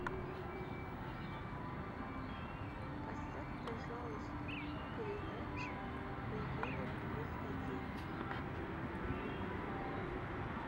поставь пожалуйста передачу регина плюс один